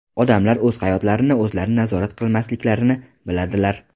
Odamlar o‘z hayotlarini o‘zlari nazorat qilmasliklarini biladilar.